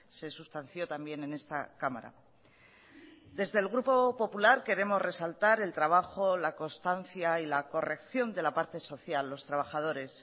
se sustanció también en esta cámara desde el grupo popular queremos resaltar el trabajo la constancia y la corrección de la parte social los trabajadores